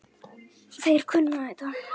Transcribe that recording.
Þeir kunna þetta.